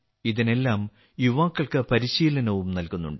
ഇതിനെല്ലാം യുവാക്കൾക്ക് പരിശീലനവും നൽകുന്നുണ്ട്